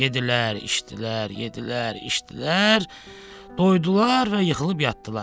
Yeddilər, içdilər, yeddilər, içdilər, doydular və yıxılıb yatdılar.